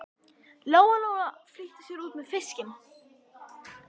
Lóa Lóa flýtti sér út með fiskinn.